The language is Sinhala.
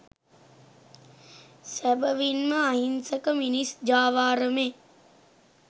සැබවින්ම අහිංසක මිනිස් ජාවාරමේ